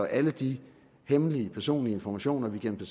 alle de hemmelige personlige informationer vi gennem